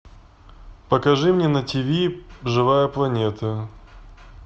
покажи мне на тиви живая планета